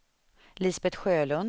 Lisbet Sjölund